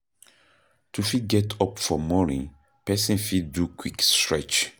To fit get up for morning person fit do quick stretch